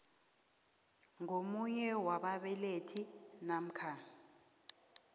ngomunye wababelethi namkha